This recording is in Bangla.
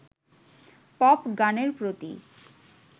পপ গানের প্রতি